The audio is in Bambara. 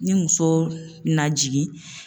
Ni muso na jigin